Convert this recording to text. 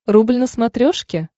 рубль на смотрешке